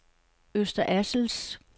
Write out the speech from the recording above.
Øster Assels